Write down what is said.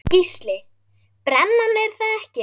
Gísli:. brennan er það ekki?